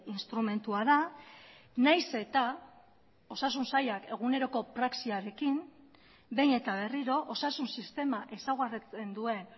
instrumentua da nahiz eta osasun sailak eguneroko praxiarekin behin eta berriro osasun sistema ezaugarritzen duen